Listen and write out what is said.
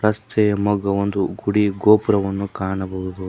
ರಸ್ತೆಯ ಮಗವೊಂದು ಗುಡಿ ಗೋಪುರವನ್ನು ಕಾಣಬಹುದು.